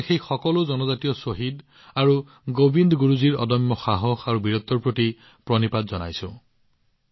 আজি মই সেই সকলো জনজাতীয় শ্বহীদ আৰু গোবিন্দ গুৰুজীৰ অদম্য সাহস আৰু বীৰত্বৰ প্ৰতি নমস্কাৰ জনাইছো